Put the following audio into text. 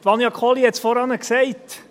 Vania Kohli hat es vorhin gesagt: